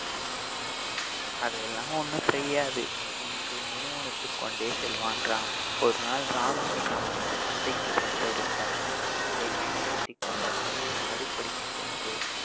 அதெல்லாம் ஒண்ணும் செய்யாது என்று முணுமுணுத்துக் கொண்டே செல்வான் ராம் ஒரு நாள் ராமுவின் அம்மா சந்தைக்கு சென்றடைந்தார் இதைப் பயன்படுத்திக் கொண்ட ராமு அடுப்படிக்குச் சென்று